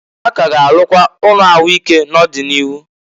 Ha k'a ga arụkwa ụnọ ahụ ike n'ọ dị n'iru.